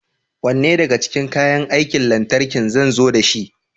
Wanne daga cikin kayan aikin lantarki zan zo dashi?